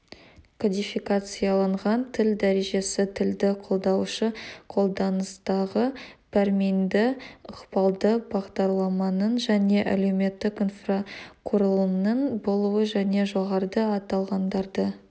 кодификацияланған тіл дәрежесі тілді қолдаушы қолданыстағы пәрменді ықпалды бағдарламаның және әлеуметтік инфрақұрылымның болуы және жоғарыда аталғандарды